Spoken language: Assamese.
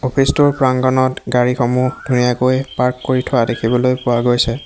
অফিচ টোৰ প্ৰাংগনত গাড়ীসমূহ ধুনীয়াকৈ পাৰ্ক কৰি থোৱা দেখিবলৈ পোৱা গৈছে।